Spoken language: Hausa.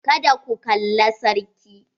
Kada ku kalla sarki.